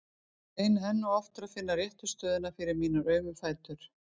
Ég reyni enn og aftur að finna réttu stöðuna fyrir mína aumu fætur.